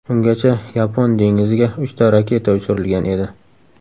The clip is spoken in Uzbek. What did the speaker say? Ungacha Yapon dengiziga uchta raketa uchirilgan edi.